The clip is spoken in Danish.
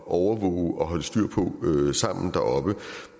overvåge og holde styr på sammen deroppe